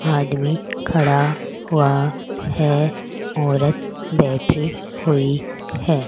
आदमी खड़ा हुआ है औरत बैठी हुई है।